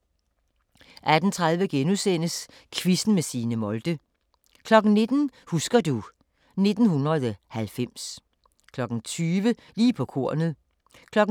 18:30: Quizzen med Signe Molde * 19:00: Husker du ... 1990 20:00: Lige på kornet 22:00: